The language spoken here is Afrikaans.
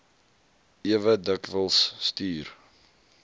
ewe dikwels stuur